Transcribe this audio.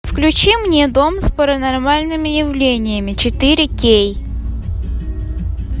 включи мне дом с паранормальными явлениями четыре кей